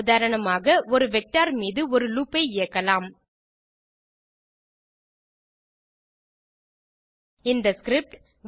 உதாரணமாக ஒரு வெக்டர் மீது ஒரு லூப் ஐ இயக்கலாம் இந்த ஸ்கிரிப்ட்